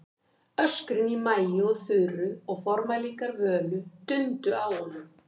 Öskrin í Maju og Þuru og formælingar Völu dundu á honum.